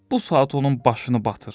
Bu saat onun başını batır.